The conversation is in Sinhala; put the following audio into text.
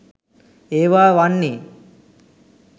ඒවා වන්නේ.